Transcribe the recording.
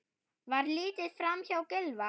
Var litið framhjá Gylfa?